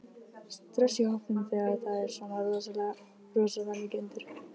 Stress í hópnum þegar það er svona rosalega mikið undir?